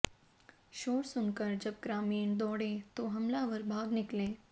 शोर सुनकर जब ग्रामीण दौड़े तो हमलावर भाग निकले